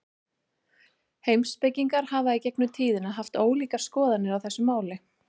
Heimspekingar hafa í gegnum tíðina haft ólíkar skoðanir á þessu máli.